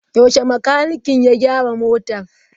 Yaushe makanikin ya gyara motar?